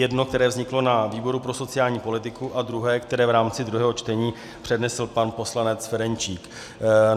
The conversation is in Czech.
Jedno, které vzniklo na výboru pro sociální politiku, a druhé, které v rámci druhého čtení přednesl pan poslanec Ferjenčík.